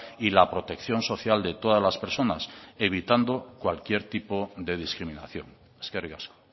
y la protección social de todas las personas evitando cualquier tipo de discriminación eskerrik asko